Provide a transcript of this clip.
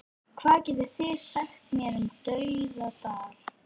Hvað getið þið sagt mér um Dauðadal?